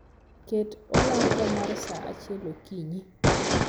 Ket olanga mar sa achiel okinyi